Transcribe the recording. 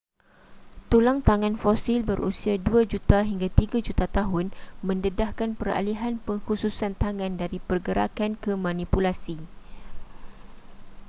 tulang tangan fosil berusia dua juta hingga tiga juta tahun mendedahkan peralihan pengkhususan tangan dari pergerakan ke manipulasi